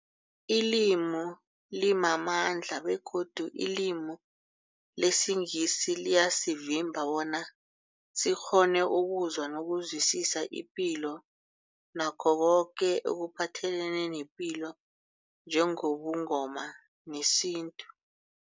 Ilimi limamandla begodu ilimi lesiNgisi liyasivimba bona sikghone ukuzwa nokuzwisisa ipilo nakho koke ekuphathelene nepilo njengobuNgoma nesintu.